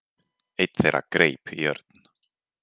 Einn þeirra greip í Örn.